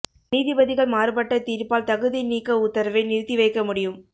நீதிபதிகள் மாறுபட்ட தீர்ப்பால் தகுதி நீக்க உத்தரவை நிறுத்தி வைக்க முடியும்